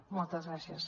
moltes gràcies